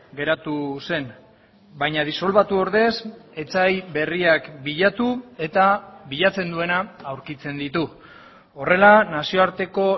geratu zen baina disolbatu ordez etsai berriak bilatu eta bilatzen duena aurkitzen ditu horrela nazioarteko